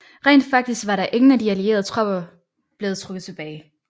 Rent faktisk var ingen af de allierede tropper blevet trukket tilbage